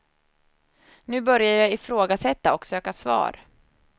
Nu börjar jag ifrågasätta och söka svar.